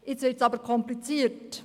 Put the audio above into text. Jetzt wird es aber kompliziert.